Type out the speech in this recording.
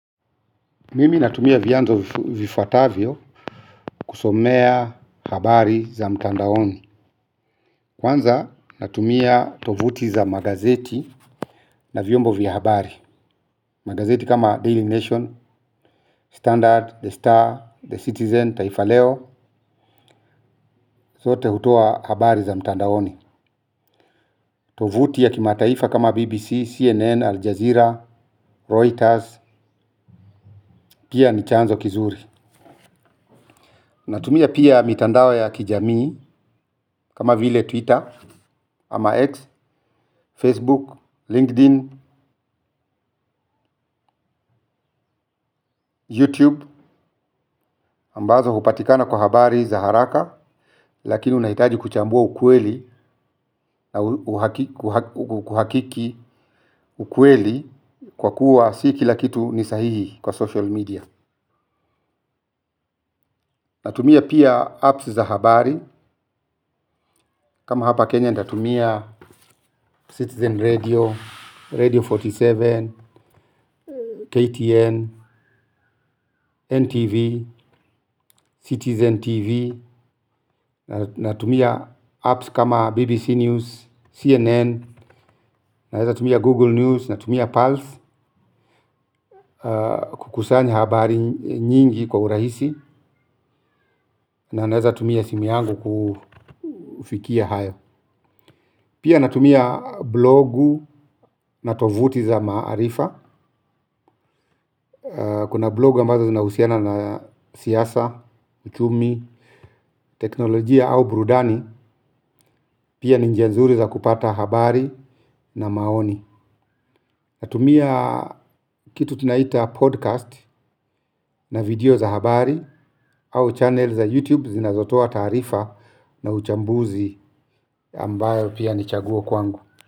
Mimi natumia vyanzo vifuatavyo kusomea habari za mtandaoni. Kwanza natumia tovuti za magazeti na vyombo vya habari. Magazeti kama Daily Nation, Standard, The Star, The Citizen, Taifa Leo, zote hutoa habari za mtandaoni. Tovuti ya kimataifa kama BBC, CNN, Aljazeera, Reuters, pia ni chanzo kizuri. Natumia pia mitandao ya kijamii kama vile Twitter ama X, Facebook, LinkedIn, YouTube ambazo hupatikana kwa habari za haraka lakini unahitaji kuchambua ukweli na kuhakiki ukweli kwa kuwa si kila kitu ni sahihi kwa social media. Natumia pia apps za habari kama hapa Kenya natumia Citizen Radio, Radio arobaini na saba, KTN, NTV, Citizen TV, natumia apps kama BBC News, CNN, natumia Google News, natumia Pulse kukusanya habari nyingi kwa urahisi na naweza tumia simu yangu kufikia hayo. Pia natumia blogu na tovuti za maarifa. Kuna blogu ambazo zinahusiana na siasa, uchumi, teknolojia au burudani. Pia ni njia nzuri za kupata habari na maoni. Natumia kitu tunaita podcast na video za habari au channel za YouTube zinazotoa taarifa na uchambuzi ambayo pia ni chaguo kwangu.